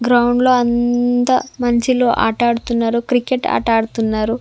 Ground లో అంత మంచిలో ఆట ఆడుతున్నారు క్రికెట్ ఆట ఆడుతున్నారు.